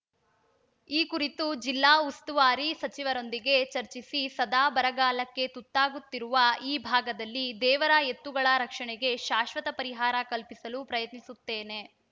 ಈ ಕುರಿತು ಜಿಲ್ಲಾ ಉಸ್ತುವಾರಿ ಸಚಿವರೊಂದಿಗೆ ಚರ್ಚಿಸಿ ಸದಾ ಬರಗಾಲಕ್ಕೆ ತುತ್ತಾಗುತ್ತಿರುವ ಈ ಭಾಗದಲ್ಲಿ ದೇವರ ಎತ್ತುಗಳ ರಕ್ಷಣೆಗೆ ಶಾಶ್ವತ ಪರಿಹಾರ ಕಲ್ಪಿಸಲು ಪ್ರಯತ್ನಿಸುತ್ತೇನೆ